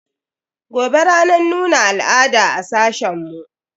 Gobe ranar nuna al'ada a sashen mu.